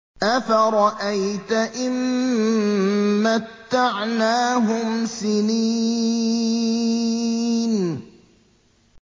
أَفَرَأَيْتَ إِن مَّتَّعْنَاهُمْ سِنِينَ